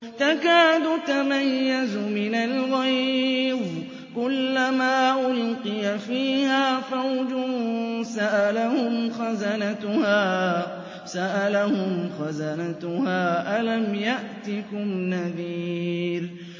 تَكَادُ تَمَيَّزُ مِنَ الْغَيْظِ ۖ كُلَّمَا أُلْقِيَ فِيهَا فَوْجٌ سَأَلَهُمْ خَزَنَتُهَا أَلَمْ يَأْتِكُمْ نَذِيرٌ